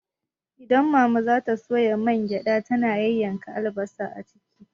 Idan mama za ta soya mangyaɗa, tana yayyanka albasa a ciki.